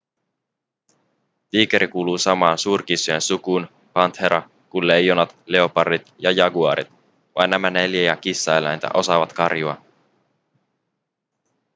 tiikeri kuuluu samaan suurkissojen sukuun panthera kuin leijonat leopardit ja jaguaarit. vain nämä neljä kissaeläintä osaavat karjua